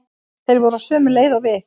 Þeir voru á sömu leið og við.